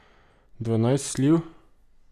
Dvanajst sliv?